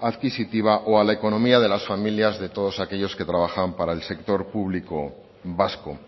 adquisitiva o a la economía de las familias de todos aquellos que trabajan para el sector público vasco